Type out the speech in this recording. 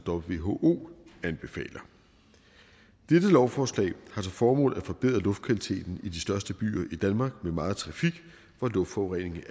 who anbefaler dette lovforslag har til formål at forbedre luftkvaliteten i de største byer i danmark med meget trafik hvor luftforureningen